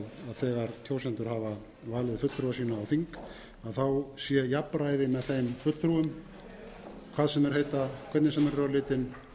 valið fulltrúa sína á þing sé jafnræði með þeim fulltrúum hvað sem þeir heita hvernig sem þeir eru á litinn